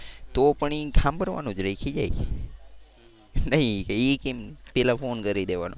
તો પણ એ સાંભળવાનું જ નહીં ખિજાય જાય. હમ્મ નહીં એ કે પહેલા ફોન કરી દેવાનો.